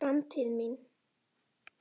Hver er framtíð mín?